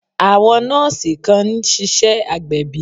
Àwọn nọ́ọ̀sì kan ń ṣiṣẹ́ agbẹ̀bí